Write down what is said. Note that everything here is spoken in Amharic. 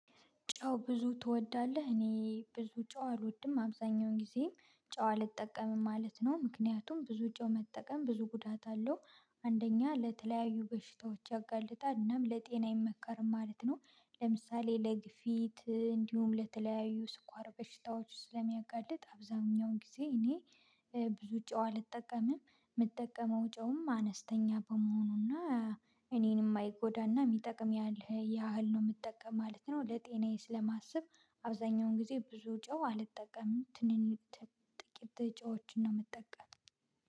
ጨው ብዙ ትወዳለህ? እኔ ብዙ ጨው አልወድም አብዛኛውን ጊዜ ጨው አልጠቀምም ማለት ነው። ምክንያቱም ብዙ ጨው መጠቀም ብዙ ጉዳት አለው አንደኛ ለተለያዩ በሽታዎች ያጋልጣል እናም ለጤና አይመከርም ማለት ነው። ለምሳሌ ለግፊት እንዲሁም ለተለያዩ ስኳር በሽታዎች ስለሚያጋልጥ አብዛኛው ጊዜ እኔ ብዙ ጨው አልጠቀምም የምጠቀመው ጨውም አነስተኛ በመሆኑና። እኔንም ማይጎዳና የሚጠቅም ያህል ያህል ነው የምጠቀም ማለት ነው። ለጤናዬ ስለማስብ አብዛኛውን ጊዜ ብዙ ጨው አልጠቀምም ትንን ጥቂት ጨዎችን ነው የምጠቀም።